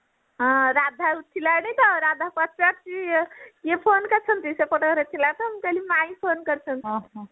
ହଁ ରାଧା ଉଠିଲାଣି ତ ରାଧା ପଚାରୁଛି କିଏ phone କରିଛନ୍ତି ସେପଟ ଘରେ ଥିଲା ତ ମୁଁ କହିଲି ମାଇଁ phone କରିଛନ୍ତି